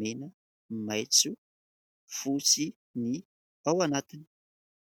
mena, maitso, fotsy ny ao anatiny.